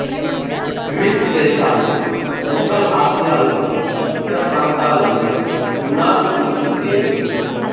grace దేశాన్ని central Asia లోని ఇతర ప్రాంతాలన్ని యునాన్ అని పిలిచేవి